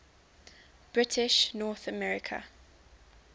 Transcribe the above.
british north america